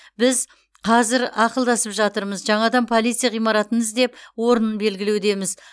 біз қазір ақылдасып жатырмыз жаңадан полиция ғимаратын іздеп орнын белгілеудеміз